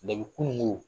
Ne bɛ kununko